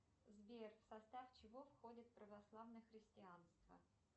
сбер в состав чего входит православное христианство